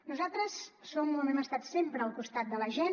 nosaltres som on hem estat sempre al costat de la gent